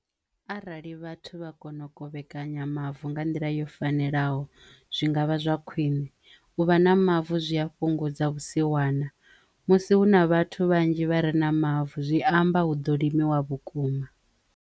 Arali vhathu vha kono u kovhekanya mavu nga nḓila yo fanelaho zwi ngavha zwa khwine u vha na mavu zwi ya fhungudza vhusiwana musi hu na vhathu vhanzhi vha re na mavu zwi amba hu ḓo limiwa vhukuma.